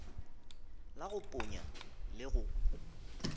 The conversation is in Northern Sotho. la go ponya le go